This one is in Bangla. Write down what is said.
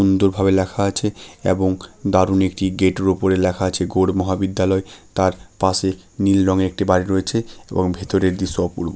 দু ভাবে লেখা আছে এবং দারুণ একটি গেট -এর ওপরে লেখা আছে গৌড় মহাবিদ্যালয় তার পাশে নীল রঙের একটি বাড়ি রয়েছে এবং ভেতরের দৃশ্য অপূর্ব।